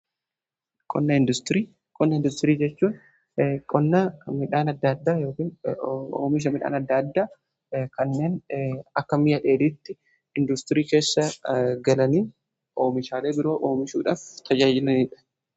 konna industirii jechuun omisha midhaan adda addaa kanneen akka mi'a dheelitti industirii keessa galanii oomishaalee biroa oomishuudhaaf tayyaayinaniidha